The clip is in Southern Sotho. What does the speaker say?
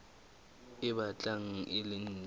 e batlang e le ntle